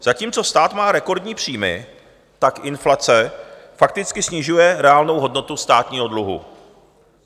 Zatímco stát má rekordní příjmy, tak inflace fakticky snižuje reálnou hodnotu státního dluhu.